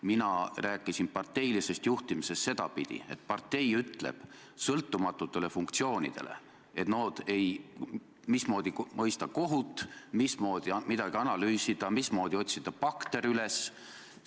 Mina rääkisin parteilisest juhtimisest sedapidi, et partei ütleb sõltumatutele institutsioonidele, mismoodi mõista kohut, mismoodi midagi analüüsida, mismoodi otsida bakter üles.